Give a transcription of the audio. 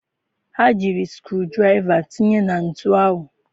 Ha jiri skru draịva tinye nọtụ ahụ.